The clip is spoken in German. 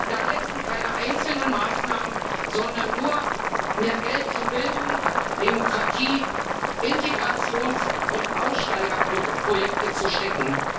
Da helfen keine einzelnen Maßnahmen, sondern nur, mehr Geld in Bildung, Demokratie, Integrations und Aussteigerprojekte zu stecken.